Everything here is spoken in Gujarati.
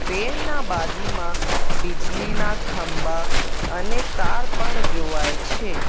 વેલ ના બાજુમાં બિજલીના ખંભા અને તાર પણ જોવાય છે.